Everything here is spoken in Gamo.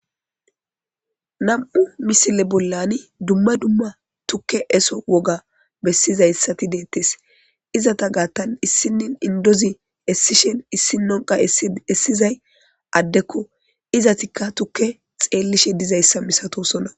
Nam'u misile bollani dumma dumma tukke eso woga bessizaysati de'etees; izata gaatan issinin inddozi essishin issinon qa esizizay addeko; izatika tukke xeelishe dizaysa misatosona.